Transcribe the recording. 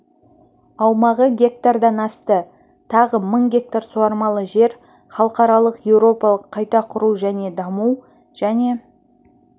аумағы гектаран асты тағы мың гектар суармалы жер халықаралық еуропалық қайта құру және даму және